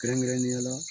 Kɛrɛnkɛrɛnnenya la